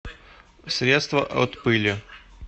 средство от пыли